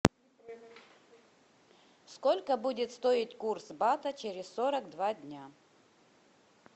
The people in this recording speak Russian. сколько будет стоить курс бата через сорок два дня